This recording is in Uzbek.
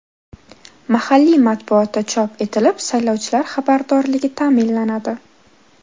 Mahalliy matbuotda chop etilib, saylovchilar xabardorligi ta’minlanadi.